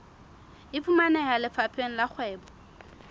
e fumaneha lefapheng la kgwebo